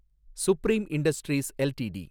supreme industries LTD